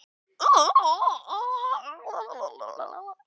Sóli, hvar er dótið mitt?